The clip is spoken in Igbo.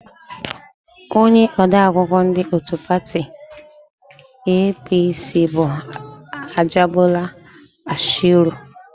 Onye odeakwụkwọ ndị òtù pati EePiiSii bụ Ajịbọla Bashiru.